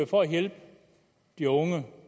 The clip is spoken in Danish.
for at hjælpe de unge